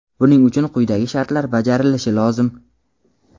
Buning uchun quyidagi shartlar bajarilishi lozim:.